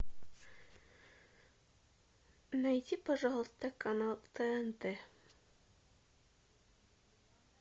найди пожалуйста канал тнт